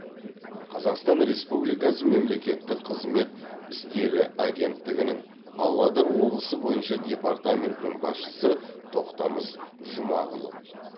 қазақстан республикасы мемлекеттік қызмет істері агенттігінің павлодар облысы бойынша департаментінің басшысы тоқтамыс жұмағұлов